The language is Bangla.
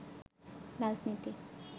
রাজনীতি